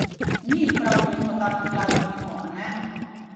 Ni jih prav veliko takih glasbenikov, ane?